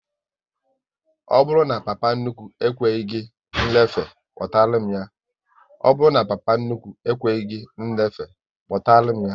Ọ bụrụ na papa nnukwu ekweghị gị nlefe, kpọtara m ya!